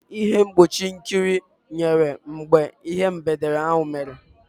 Ịhe mgbochi nkụrị nyere mgbe ihe mberede ahụ mere.